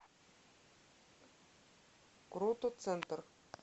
крутоцентр